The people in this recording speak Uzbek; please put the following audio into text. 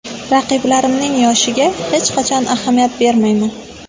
Raqiblarimning yoshiga hech qachon ahamiyat bermayman.